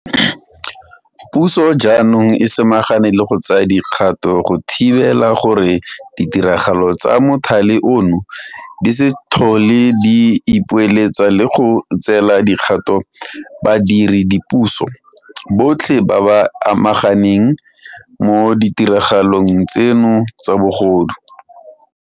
Puso jaanong e samagane le go tsaya dikgato go thibela gore ditiragalo tsa mothale ono di se tlhole di ipoeletsa le go tseela dikgato badire dipuso botlhe ba ba amegang mo ditiragalong tseno tsa bogodu.